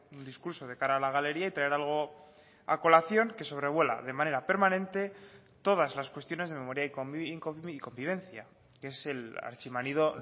un discurso de cara a la galería y traer algo a colación que sobrevuela de manera permanente todas las cuestiones de memoria y convivencia que es el archi manido